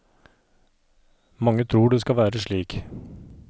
Mange tror det skal være slik.